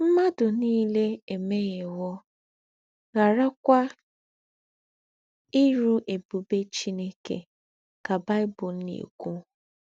“M̀màdù nílé èmèhièwò, ghàrákwà írú ébùbè Chineke,” ká Bible nà-èkwú.